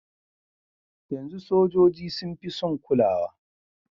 Yanzu sojoji sun fi sun kulawa.